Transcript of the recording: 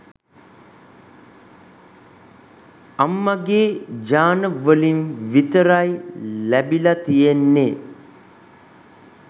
අම්මගේ ජාන වලින් විතරයි ලැබිලා තියෙන්නේ